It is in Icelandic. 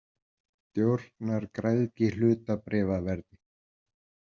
Stjórnar græðgi hlutabréfaverði?